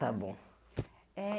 Tá bom. Eh